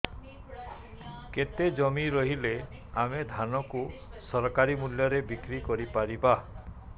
କେତେ ଜମି ରହିଲେ ଆମେ ଧାନ କୁ ସରକାରୀ ମୂଲ୍ଯରେ ବିକ୍ରି କରିପାରିବା